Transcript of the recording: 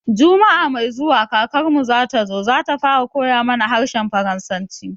Juma'a mai zuwa kakarmu zatazo, zata fara koya mana harshen faransanci